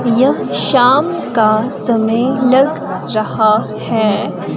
यह शाम का समय लग रहा है।